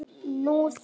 Nú þeir.